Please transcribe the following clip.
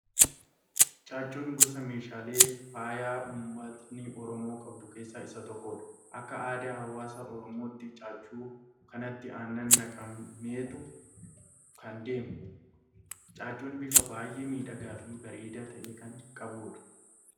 Caaccuun gosa meeshaalee faayaa uummatni Oromoo qabdu keessaa isa tokko dha. Akka aadaa hawaasa oromootti caaccuu kanatti aannan naqameetu kan deemamu. Caaccuun bifa baayyee miidhagaa fi bareedaa ta'e kan qabudha.